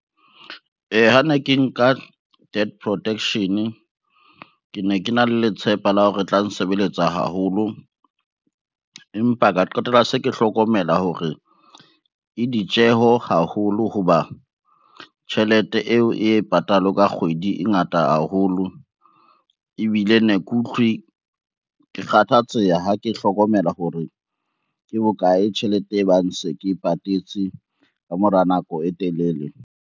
Ha ne ke nka death protection, ke ne ke na le letshepa la ho re e tla nsebeletsa haholo, empa ka qetella se ke hlokomela hore e ditjeho haholo. Ho ba tjhelete eo e patalwang ka kgwedi e ngata haholo, ebile ne ke utlwe ke kgathatseha ha ke hlokomela hore ke bokae tjhelete e bang se ke patetse ka mora nako e telele.